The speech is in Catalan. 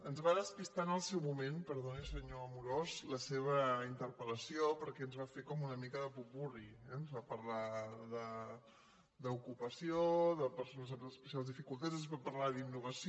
ens va despistar en el seu moment perdoni senyor amorós la seva interpelperquè ens va fer com una mica de popurri eh ens va parlar d’ocupació de persones amb especials dificultats ens va parlar d’innovació